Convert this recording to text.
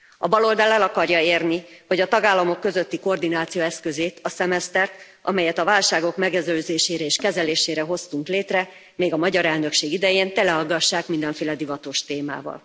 A baloldal el akarja érni, hogy a tagállamok közötti koordináció eszközét, a szemesztert, amelyet a válságok megelőzésére és kezelésére hoztunk létre még a magyar elnökség idején, teleaggassák mindenféle divatos témával.